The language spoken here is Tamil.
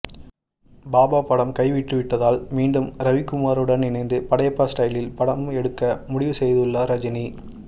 பாபா படம் கைவிட்டுவிட்டதால் மீண்டும் ரவிக்குமாருடன் இணைந்து படையப்பா ஸ்டைலில் படம் எடுக்க முடிவு செய்துள்ளார்ரஜினி